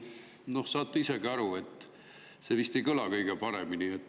Saate isegi aru, et see vist ei kõla kõige paremini.